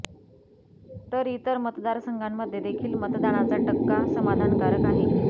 तर इतर मतदार संघांमध्ये देखील मतदानाचा टक्का समाधानकारक आहे